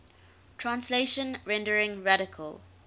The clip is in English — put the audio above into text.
translation rendering radical